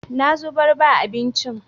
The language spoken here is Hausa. Na zubar ba abincin.